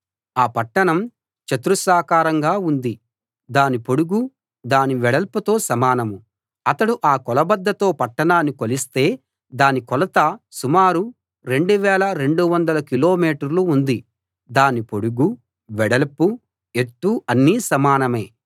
ఆ పట్టణం చతురస్రాకారంగా ఉంది దాని పొడుగు దాని వెడల్పుతో సమానం అతడు ఆ కొలబద్దతో పట్టణాన్ని కొలిస్తే దాని కొలత సుమారు రెండు వేల రెండు వందల కిలో మీటర్లు ఉంది దాని పొడుగూ వెడల్పూ ఎత్తూ అన్నీ సమానమే